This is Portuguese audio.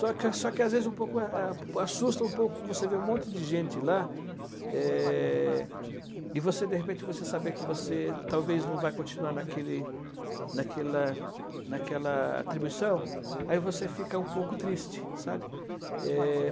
Só que só que às vezes a a assusta um pouco você ver um monte de gente lá é, e de repente você saber que talvez não vai continuar naquele, naquela naquela atribuição, aí você fica um pouco triste, sabe? É...